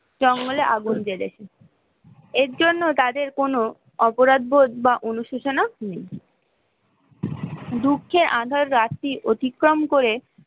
তাহলে আগুন , এর জন্য তাদের কোনো অপরাধবোধ বা অনুসূচনা নেই, দুঃখের আঁধার রাত্রি অতিক্রম করে